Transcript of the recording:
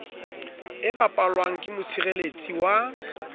e bapalwang ke motshireletsi wa